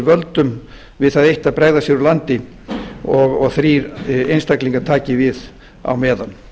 völdum við það eitt að bregða sér úr landi og þrír einstaklingar taki við á meðan